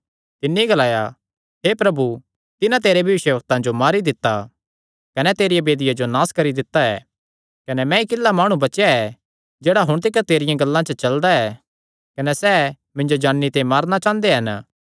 तिन्नी ग्लाया हे प्रभु तिन्हां तेरे भविष्यवक्तां जो मारी दित्ता कने तेरी वेदियां जो नास करी दित्ता ऐ कने मैंई किल्ला माणु बचेया ऐ जेह्ड़ा हुण तिकर तेरियां गल्लां चलदा ऐ कने सैह़ मिन्जो जान्नी ते मारणा चांह़दे हन